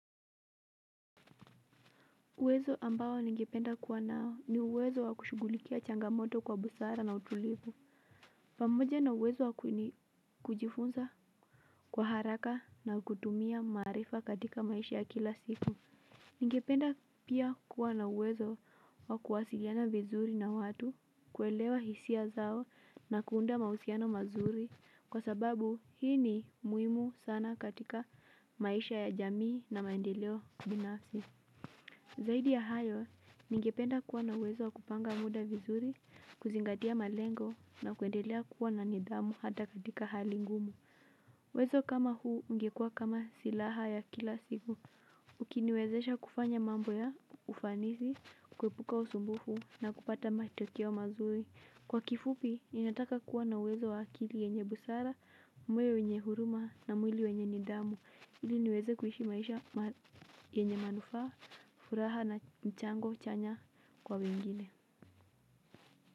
Uwezo ambao ningependa kuwa nao ni uwezo wa kushugulikia changamoto kwa busara na utulivu. Pamoja na uwezo wa kujifunza kwa haraka na kutumia maarifa katika maisha ya kila siku. Ningependa pia kuwa na uwezo wa kuwasiliana vizuri na watu kuelewa hisia zao na kuunda mahusiano mazuri. Kwa sababu hii ni muimu sana katika maisha ya jamii na maendeleo binafsi. Zaidi ya hayo, ningependa kuwa na wezo kupanga muda vizuri, kuzingatia malengo na kuendelea kuwa na nidhamu hata katika hali ngumu. Wezo kama huu, ungekua kama silaha ya kila siku. Ukiniwezesha kufanya mambo ya ufanisi, kuepuka usumbufu na kupata matokeo mazuri. Kwa kifupi, ninataka kuwa na uwezo wa akili yenye busara, moyo wenye huruma na mwili wenye nidhamu. Ili niweze kuhishi maisha yenye manufaa furaha na mchango chanya kwa wengine.